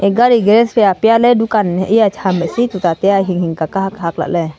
e gari garage phai apya ley dukan iya ham hehsi tuta taiya hinghing ka kahak hak lahley.